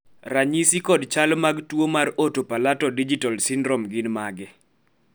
ranyisi kod chal mag tuo mar Oto palato digital syndrome gin mage?